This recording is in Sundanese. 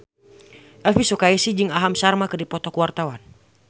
Elvy Sukaesih jeung Aham Sharma keur dipoto ku wartawan